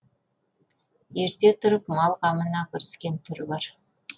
ерте тұрып мал қамына кіріскен түрі бар